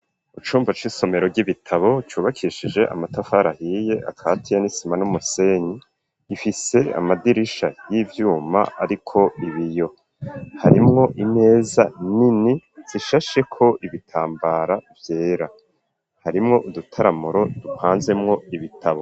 Icumba c'isomero ry'ibitabo cubakishije amatafari ahiye akatiye n'isima n'umusenyi. Rifise amadirisha y'ivyuma ariko ibiyo. Harimwo imeza nini zishasheko ibitambara vyera. Harimwo udutaramuro dupanzemwo ibitabo.